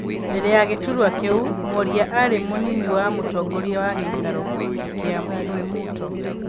Mbere ya gĩturwa kĩu, Mworia arĩ mũnini wa mũtongorĩa wa gĩikaro gĩa Mwĩmuto.